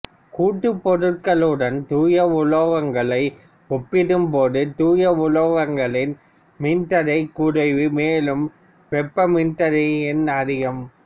கூட்டுப் பொருட்களுடன் தூய உலோகங்களை ஒப்பிடும் போது தூய உலோகங்களின் மின்தடை குறைவு மேலும் வெப்ப மின்தடை எண் அதிகம்